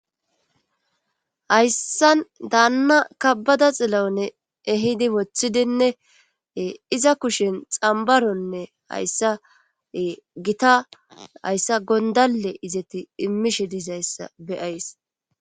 hayssan daanna kabada xillone ehidi woththidinne iza kushen xambaronne hayssae gita hayssa gondale izeti immishe disayssa beyays